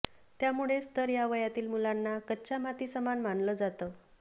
त्यामुळेच तर या वयातील मुलांना कच्च्या मातीसमान मानलं जातं